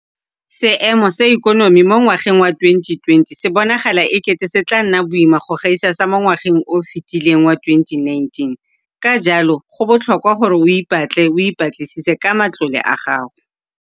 Seemo sa ikonomi mo ngwageng wa 2020 se bonagala e kete se tla nna boima go gaisa sa mo ngwageng o o fetileng wa 2019, ka jalo go botlhokwa gore o ipatle o ipatlisise ka matlole a gago.